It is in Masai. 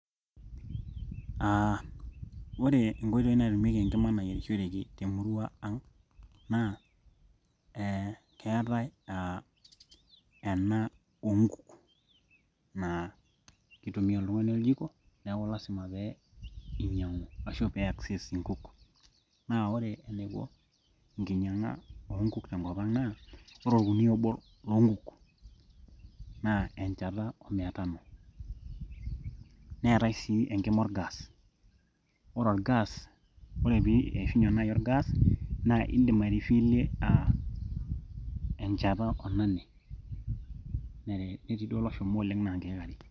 uh, ore inkoitoi naatumieki enkima nayierishoreki temurua ang naa eh keetae eh ena onkuk naa kitumia oltung'ani oljiko neeku lasima pee inyiang'u ashu piakses inkuk naa ore eniko enkinyiang'a oonkuk tenkop ang naa ore orkunia obo loonkuk naa enchata omia tano neetae sii enkima orgas ore orgas ore pii eishunye naaji orgas naa indim aerifilie aa enchata onane teenetii duo oloshomo oleng naa inkek are.